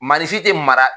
Marisi tɛ mara